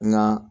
Nka